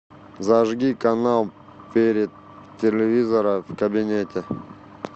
зажги канал вперед телевизора в кабинете